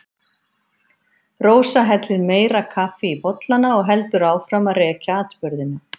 Rósa hellir meira kaffi í bollana og heldur áfram að rekja atburðina.